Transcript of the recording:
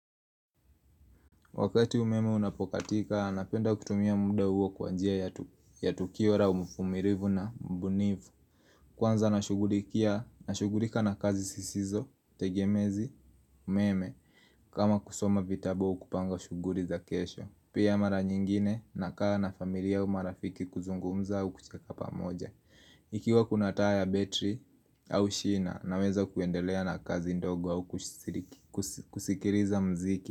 Wakati umeme unapokatika, napenda kutumia muda huo kwa njia ya tukio laa umfumilivu na mbunifu Kwanza nashugulikia, nashugulika na kazi sisizo, tegemezi, umeme, kama kusoma vitabu au kupanga shuguri za kesho Pia mara nyingine, nakaa na familia u marafiki kuzungumza au kucheka pamoja Ikiwa kuna taa ya betri au shina, naweza kuendelea na kazi ndogo au kusikiriza mziki.